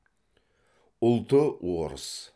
ұлты орыс